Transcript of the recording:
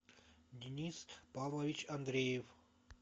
денис павлович андреев